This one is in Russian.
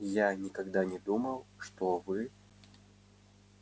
я никогда не думал что вы